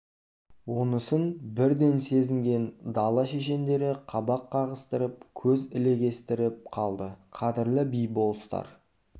онысын бірден сезінген дала шешендері қабақ қағысып көз ілегістіріп қалды қадірлі би-болыстар